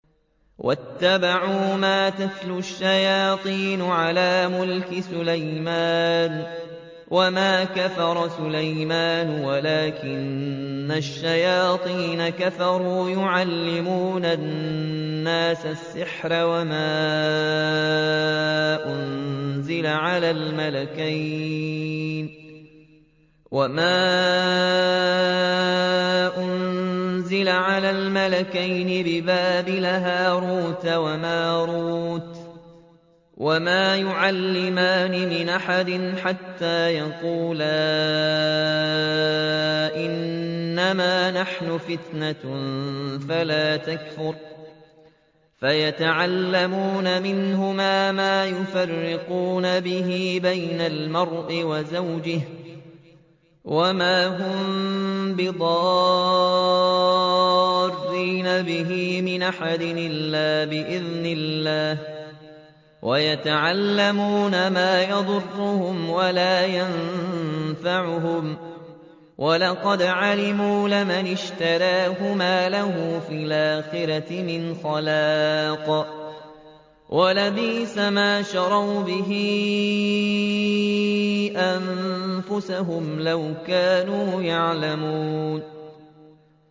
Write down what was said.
وَاتَّبَعُوا مَا تَتْلُو الشَّيَاطِينُ عَلَىٰ مُلْكِ سُلَيْمَانَ ۖ وَمَا كَفَرَ سُلَيْمَانُ وَلَٰكِنَّ الشَّيَاطِينَ كَفَرُوا يُعَلِّمُونَ النَّاسَ السِّحْرَ وَمَا أُنزِلَ عَلَى الْمَلَكَيْنِ بِبَابِلَ هَارُوتَ وَمَارُوتَ ۚ وَمَا يُعَلِّمَانِ مِنْ أَحَدٍ حَتَّىٰ يَقُولَا إِنَّمَا نَحْنُ فِتْنَةٌ فَلَا تَكْفُرْ ۖ فَيَتَعَلَّمُونَ مِنْهُمَا مَا يُفَرِّقُونَ بِهِ بَيْنَ الْمَرْءِ وَزَوْجِهِ ۚ وَمَا هُم بِضَارِّينَ بِهِ مِنْ أَحَدٍ إِلَّا بِإِذْنِ اللَّهِ ۚ وَيَتَعَلَّمُونَ مَا يَضُرُّهُمْ وَلَا يَنفَعُهُمْ ۚ وَلَقَدْ عَلِمُوا لَمَنِ اشْتَرَاهُ مَا لَهُ فِي الْآخِرَةِ مِنْ خَلَاقٍ ۚ وَلَبِئْسَ مَا شَرَوْا بِهِ أَنفُسَهُمْ ۚ لَوْ كَانُوا يَعْلَمُونَ